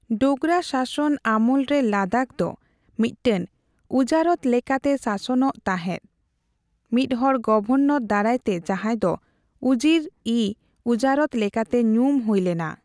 ᱰᱳᱜᱨᱟ ᱥᱟᱥᱚᱱ ᱟᱢᱚᱞᱨᱮ ᱞᱟᱫᱟᱠᱷ ᱫᱚ ᱢᱤᱫᱴᱟᱝ ᱩᱡᱟᱨᱚᱛ ᱞᱮᱠᱟᱛᱮ ᱥᱟᱥᱚᱱᱚᱜ ᱛᱟᱸᱦᱮᱫ, ᱢᱤᱫᱦᱚᱲ ᱜᱚᱵᱷᱚᱨᱱᱚᱨ ᱫᱟᱨᱟᱭᱛᱮ ᱡᱟᱦᱟᱸᱭ ᱫᱚ ᱩᱡᱤᱨᱼᱤᱼᱩᱡᱟᱨᱚᱛ ᱞᱮᱠᱟᱛᱮ ᱧᱩᱢ ᱦᱩᱭᱞᱮᱱᱟ ᱾